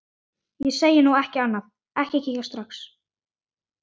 Ég segi nú ekki annað.